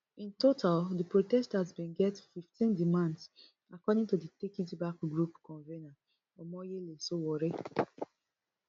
in total di protesters bin get fifteen demands according to di take it back group convener omoyele sowore